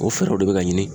O fɛɛrɛw de bɛ ka ɲini